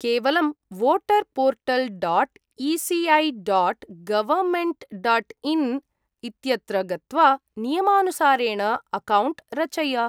केवलं voter portal dot ECI dot government dot in इत्यत्र गत्वा नियमानुसारेण अकौण्ट् रचय।